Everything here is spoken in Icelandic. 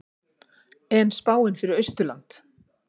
en spáin fyrir austurland